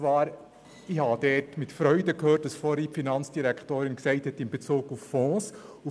Ich habe mit Freude vernommen, was die Finanzdirektorin in Bezug auf Fonds gesagt hat.